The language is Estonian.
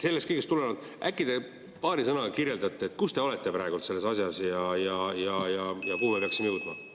Sellest kõigest tulenevalt äkki te paari sõnaga kirjeldate, kui kaugel te olete praegu selle asjaga ja kuhu me peaksime jõudma?